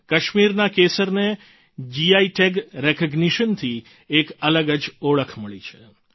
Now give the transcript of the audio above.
કાશ્મીરના કેસરને GI tag recognition થી એક અલગ જ ઓળખ મળી છે